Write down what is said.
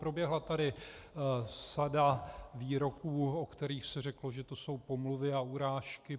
Proběhla tady sada výroků, o kterých se řeklo, že to jsou pomluvy a urážky.